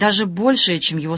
даже больше чем его